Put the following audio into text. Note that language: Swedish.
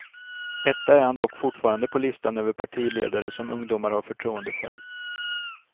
Etta är han dock fortfarande på listan över partiledare som ungdomar har förtroende för.